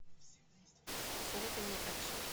посоветуй мне экшн